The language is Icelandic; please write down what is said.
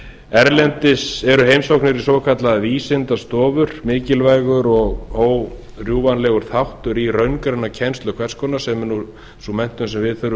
erlendis eru heimsóknir í svokallaðar vísindastofur mikilvægur og órjúfanlegur þáttur í hvers konar raungreinakennslu sem er sú menntun sem við þurfum